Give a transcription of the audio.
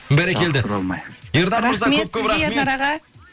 бәрекелді